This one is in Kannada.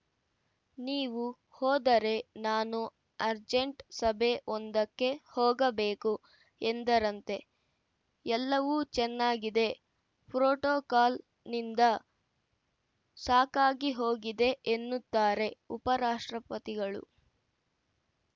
ನೀವು ಹೋದರೆ ನಾನು ಅರ್ಜೆಂಟ್‌ ಸಭೆ ಒಂದಕ್ಕೆ ಹೋಗಬೇಕು ಎಂದರಂತೆ ಎಲ್ಲವೂ ಚೆನ್ನಾಗಿದೆ ಪ್ರೋಟೋಕಾಲನಿಂದ ಸಾಕಾಗಿಹೋಗಿದೆ ಎನ್ನುತ್ತಾರೆ ಉಪರಾಷ್ಟ್ರಪತಿಗಳು